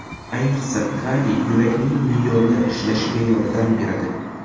Ayniqsa, kaliy yurakning me’yorda ishlashiga yordam beradi.